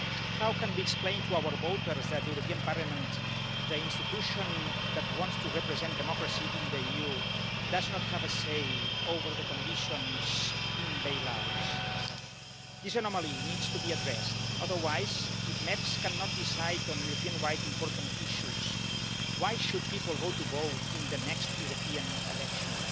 How can we explain to our voters that the European Parliament the institution that wants to represent democracy in the EU does not have a say over the conditions in bailouts? This anomaly needs to be addressed otherwise, if MEPs cannot decide on Europe wide important issues, why should people go to vote in the next European elections?